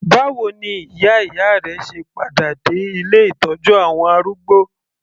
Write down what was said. Báwo ni ìyá ìyá rẹ se padà dé ilé ìtọ́jú àwọn arúgbó?